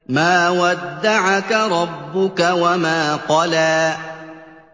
مَا وَدَّعَكَ رَبُّكَ وَمَا قَلَىٰ